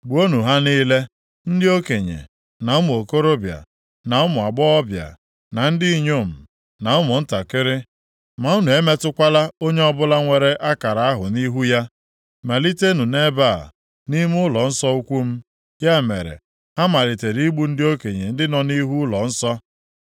Gbuonụ ha niile, ndị okenye, na ụmụ okorobịa, na ụmụ agbọghọbịa, na ndị inyom, na ụmụntakịrị. Ma unu emetụkwala onye ọbụla nwere akara ahụ nʼihu ya. Malitenụ nʼebe a, nʼime ụlọnsọ ukwu m.” Ya mere, ha malitere igbu ndị okenye ndị nọ nʼihu ụlọnsọ.